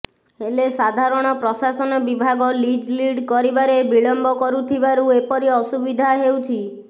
ହେଲେ ସାଧାରଣ ପ୍ରଶାସନ ବିଭାଗ ଲିଜ୍ ଡିଡ୍ କରିବାରେ ବିଳମ୍ବ କରୁଥିବାରୁ ଏପରି ଅସୁବିଧା ହେଉଛି